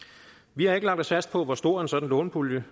vi har ikke lagt os fast på hvor stor en sådan lånepulje